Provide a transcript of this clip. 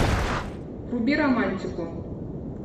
вруби романтику